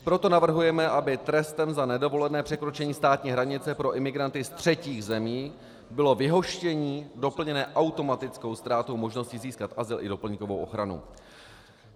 Proto navrhujeme, aby trestem za nedovolené překročení státní hranice pro imigranty ze třetích zemí bylo vyhoštění doplněné automatickou ztrátou možnosti získat azyl i doplňkovou ochranu.